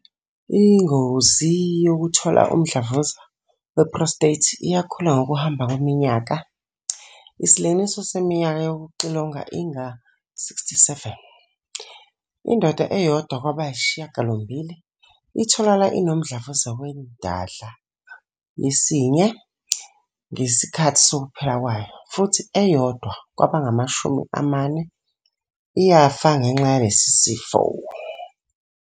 Ingozi yokuthola umdlavuza we-prostate iyakhula ngokuhamba kweminyaka, isilinganiso seminyaka yokuxilongwa inga-67. Indoda eyodwa kwabayisishiyagalombili itholakala inomdlavuza wendlada yesinye ngesikhathi sokuphila kwayo futhi eyodwa kwabangamashumi amane iyafa ngenxa yalesi sifo.